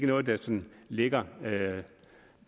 noget der sådan ligger